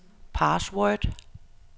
password